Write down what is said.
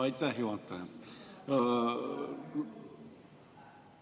Aitäh, juhataja!